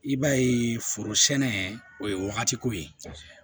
I b'a ye foro sɛnɛ o ye wagati ko ye